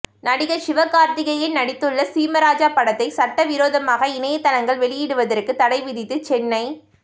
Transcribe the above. நடிகர் சிவகார்த்திகேயன் நடித்துள்ள சீமராஜா படத்தை சட்டவிரோதமாக இணையதளங்கள் வெளியிடுவதற்குத் தடை விதித்து சென்னை